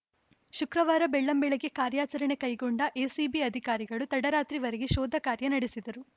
ಶುಕ್ರವಾರ ಬೆಳ್ಳಂಬೆಳಗ್ಗೆ ಕಾರ್ಯಾಚರಣೆ ಕೈಗೊಂಡ ಎಸಿಬಿ ಅಧಿಕಾರಿಗಳು ತಡರಾತ್ರಿವರೆಗೆ ಶೋಧ ಕಾರ್ಯ ನಡೆಸಿದರು